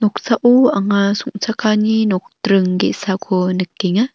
noksao anga song·chakani nokdring ge·sako nikenga.